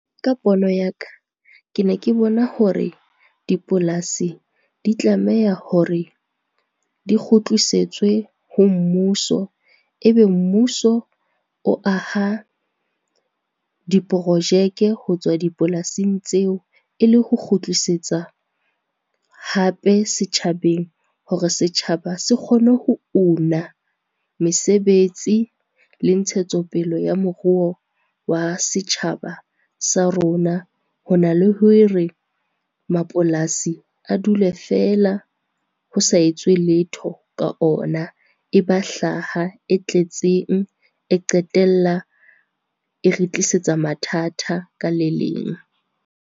Ka pono ya ka, ke ne ke bona hore dipolasi di tlameha hore di kgutlisetswe ho mmuso. E be mmuso o aha diprojeke ho tswa dipolasing tseo e le ho kgutlisetsa hape setjhabeng hore setjhaba se kgone ho una mesebetsi le ntshetsopele ya moruo wa setjhaba sa rona, ho na le hore mapolasi a dule feela ho sa etswe letho ka ona, e ba hlaha e tletseng e qetella e re tlisetsa mathata ka le leng.